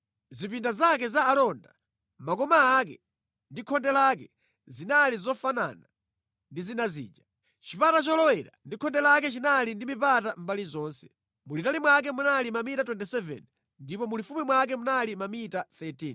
Zipinda zake za alonda, makoma ake ndi khonde lake zinali zofanana ndi zina zija. Chipata cholowera ndi khonde lake chinali ndi mipata mʼmbali zonse. Mulitali mwake munali mamita 27 ndipo mulifupi mwake munali mamita 13.